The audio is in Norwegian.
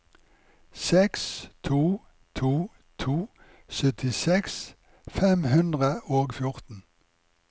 seks to to to syttiseks fem hundre og fjorten